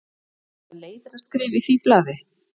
Eða leiðaraskrif í því blaði?